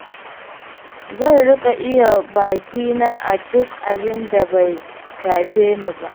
Zan riƙa iya bakina a duk abinda bai shafe ni ba.